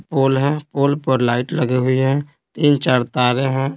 पोल है पोल पर लाइट लगे हुई है तीन चार तारे हैं।